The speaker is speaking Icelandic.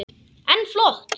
En flott!